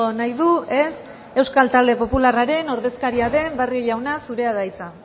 nahi du ez euskal talde popularren ordezkaria den barrio jauna zurea da hitza